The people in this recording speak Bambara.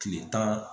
Kile tan